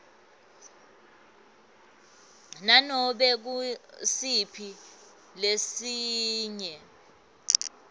nanobe ngusiphi lesinye